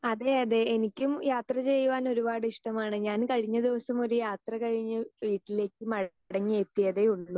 Speaker 2 അതെ അതെ എനിക്കും യാത്ര ചെയ്യുവാൻ ഒരുപാട് ഇഷ്ടമാണ് ഞാൻ കഴിഞ്ഞ ദിവസം ഒരു യാത്ര കഴിഞ്ഞ് വീട്ടിലേക്ക് മടങ്ങി എത്തിയതേയുള്ളൂ.